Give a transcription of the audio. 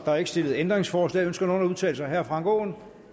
er ikke stillet ændringsforslag ønsker nogen at udtale sig herre frank aaen